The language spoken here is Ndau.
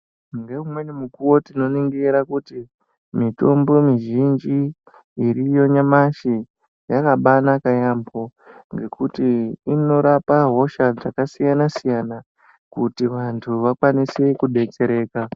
Ngeumweni mukuwo tinoningira kuti mitombo mizhinji iriyo nyamashi yakabaa naka yaamho ngekuti inorapa hosha dzakasiyana siyana kuti vantu vakasire kubetsereka.